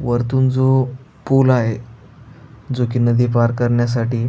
वरतून जो पुल आहे जो की नदी पार करण्यासाठी